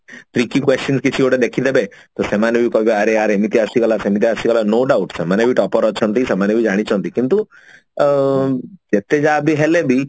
tricky question କିଛି ଗୋଟେ ଦେଖିନେବେ ତ ସେମାନେ ବି କହିବେ ଆରେ ୟାର ଏମିତି ଆସିଗଲା ସେମିତି ଆସିଗଲା no doubt ସେମାନେ ବି topper ଅଛନ୍ତି ସେମାନେ ବି ଜାଣିଛନ୍ତି କିନ୍ତୁ ଅ ଯେତେ ଯାହାବି ହେଲେ ବି